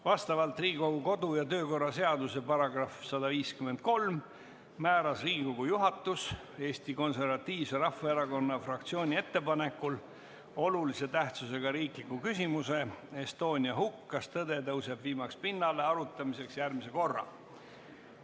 Vastavalt Riigikogu kodu- ja töökorra seaduse §-le 153 määras Riigikogu juhatus Eesti Konservatiivse Rahvaerakonna fraktsiooni ettepanekul olulise tähtsusega riikliku küsimuse "Estonia hukk – kas tõde tõuseb viimaks pinnale?" arutamiseks järgmise korra.